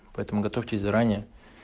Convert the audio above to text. поэтому готовьтесь заранее